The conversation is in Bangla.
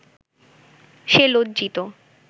সে লজ্জিত